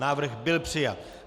Návrh byl přijat.